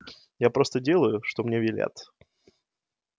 я просто делаю что мне велят